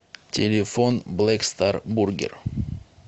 телефон блэк стар бургер